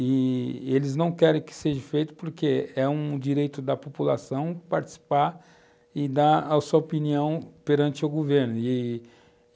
i-i eles não querem que seja feito porque é um direito da população participar e dar a sua opinião perante o governo e,